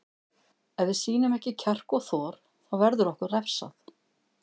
Ef við sýnum ekki kjark og þor þá verður okkur refsað.